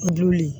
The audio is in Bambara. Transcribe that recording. O du